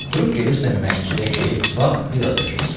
Durub gedirsən məscidə ki, vaxt bir az da keçsin.